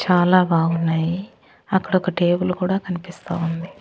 చాలా బాగున్నాయి అక్కడ ఒక టేబుల్ కూడా కనిపిస్తా ఉంది.